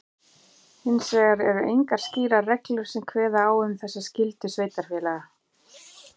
Hins vegar eru engar skýrar reglur sem kveða á um þessa skyldu sveitarfélaga.